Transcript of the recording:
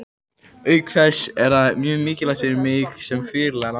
Auk þess er það mjög mikilvægt fyrir mig sem fyrirliða landsliðsins.